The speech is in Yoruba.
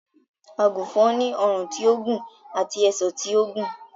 Àgùnfòn ni ọrùn tí ó gùn àti ẹsẹ̀ tí ó gùn